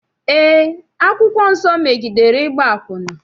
Eé, akwụkwọ nsọ megidere ịgba akwụna.